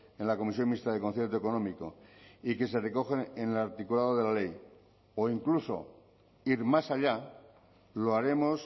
fijados en la comisión mixta de concierto económico y que se recogen en el articulado de la ley o incluso ir más allá lo